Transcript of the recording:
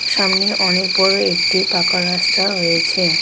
সামনে অনেক বড় একটি পাকা রাস্তা রয়েছে.